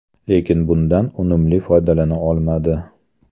Lekin bundan unumli foydalana olmadi.